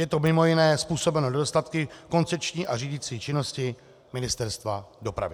Je to mimo jiné způsobeno nedostatky v koncepční a řídicí činnosti Ministerstva dopravy.